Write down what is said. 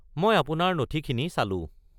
মই আপোনাৰ নথিখিনি চালো।